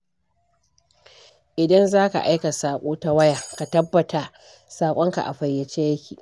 Idan za ka aika saƙo ta waya, ka tabbata saƙonka a fayyace yake